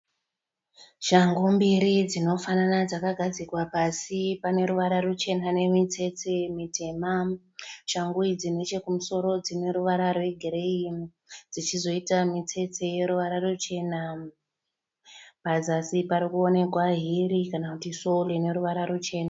Shangu mbiri dzinofanana dzakagadzikwa pasi pane ruvara ruchena nemitsetse mitema, shangu idzi nechekumusoro dzine ruvara rwegireyi dzichizoita mitsetse yeruvara ruchena pazasi parikuonekwa hiri kana kuti sowo ine ruvara ruchena.